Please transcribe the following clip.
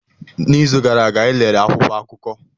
N'izu gara aga, anyị lere akwụkwọ akụkọ.